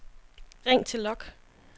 ring til log